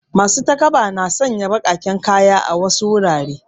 Masu takaba na sanya baƙaƙen kaya a wasu gurare.